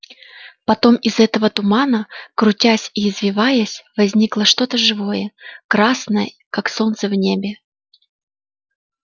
потом из этого тумана крутясь и извиваясь возникло что то живое красное как солнце в небе